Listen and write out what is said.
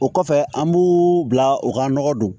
O kɔfɛ an b'u bila u ka nɔgɔ don